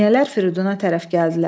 Əmniyyələr Firiduna tərəf gəldilər.